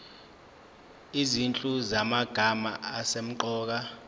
izinhlu zamagama asemqoka